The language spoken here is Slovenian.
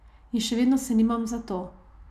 In še vedno se nimam za to.